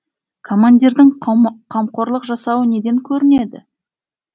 командирдің қамқорлық жасауы неден көрінеді